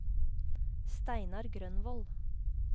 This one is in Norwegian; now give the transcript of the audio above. Steinar Grønvold